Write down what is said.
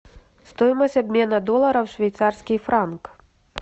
стоимость обмена доллара в швейцарский франк